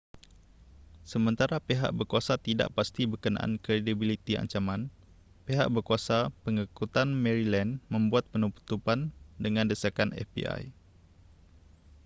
sementara pihak berkuasa tidak pasti berkenaan kredibiliti ancaman pihak berkuasa pangangkutan maryland membuat penutupan dengan desakan fbi